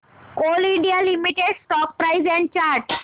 Coal India Limited stock price and chart